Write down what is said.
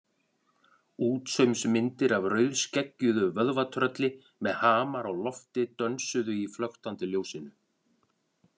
Útsaumsmyndir af rauðskeggjuðu vöðvatrölli með hamar á lofti dönsuðu í flöktandi ljósinu.